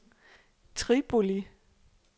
Tripoli